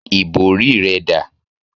Ìbòrí rẹ dà?